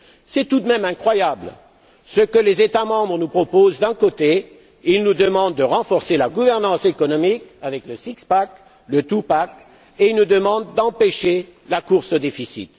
C'est tout de même incroyable, ce que les États membres nous proposent d'un côté, ils nous demandent de renforcer la gouvernance économique avec le six pack, le two pack, et ils nous demandent d'empêcher la course au déficit